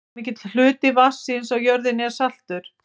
hve mikill hluti vatnsins á jörðinni er saltur